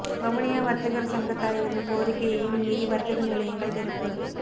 வவுனியா வர்த்தகர் சங்கத் தலைவரின் கோரிக்கையையும் மீறி வர்த்தக நிலையங்கள் திறப்பு